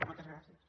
moltes gràcies